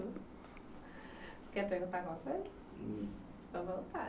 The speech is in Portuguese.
Quer perguntar alguma coisa? Fique à vontade